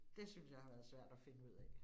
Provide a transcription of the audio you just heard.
Det synes jeg har været svært at finde ud af